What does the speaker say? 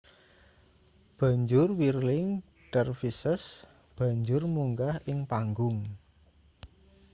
banjur whirling dervishes banjur munggah ing panggung